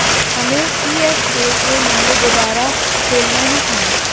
हमें सीएसके के लिए दोबारा खेलना ही था